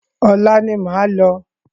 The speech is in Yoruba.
Ọ̀la ni máa lọ.